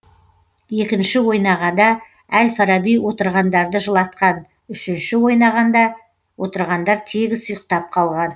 екінші ойнағада әл фараби отырғандарды жылатқан үшінші ойнағанда отырғандар тегіс ұйықтап қалған